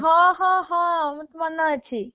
ହଁ ହଁ ହଁ ମୋର ତ ମନେ ଅଛି